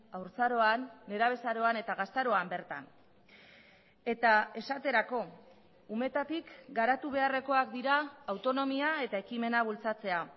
haurtzaroan nerabezaroan eta gaztaroan bertan eta esaterako umetatik garatu beharrekoak dira autonomia eta ekimena bultzatzea